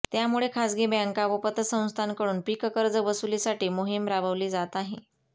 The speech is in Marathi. त्यामुळे खासगी बॅंका व पतसंस्थांकडून पीककर्ज वसुलीसाठी मोहीम राबवली जात आहे